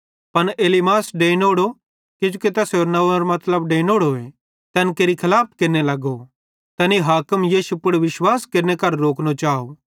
पन एलीमास डैइंनोड़ो किजोकि तैसेरे नंव्वेरो मतलब डैइंनोड़ो ए तैन केरि खलाफत केरने लगो तैने हाकिम यीशु पुड़ विश्वास केरने करां रोकनो चाव